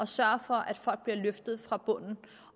sørge for at folk bliver løftet fra bunden